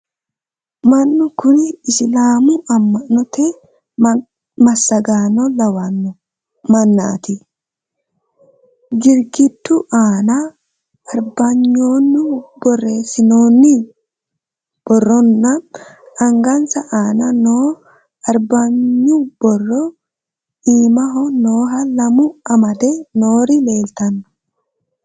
Mannu kunni isilaamu ama'notte masaaganno lawanno mannaatti. Girigidu aanna arebanyunni borreessinnonni boro nna angansa aanna no arabinyu borro iimaho nooha lamu amadde noori leelittanno